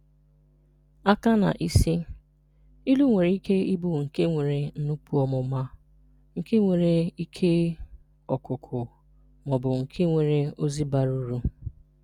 Aka na isi: Ilu nwere ike ị bụ nke nwere nnukwu ọmụma, nke nwere ihe ọ̀kụ́kụ́, ma ọ bụ nke nwere ozi bara uru.